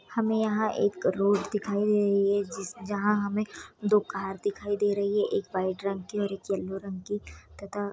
हमे यहां एक रोड दिखाई दे रही है जिस-जहां हमे दो कार दिखाई दे रही है एक व्हाइट रंग की और एक येलो रंग की तथा --